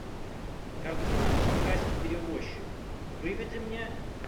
картина шанхайский перевозчик выведи мне